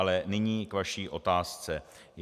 Ale nyní k vaší otázce.